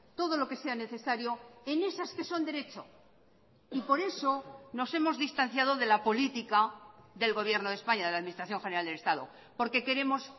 todo lo que sea necesario en esas que son derecho y por eso nos hemos distanciado de la política del gobierno de españa de la administración general del estado porque queremos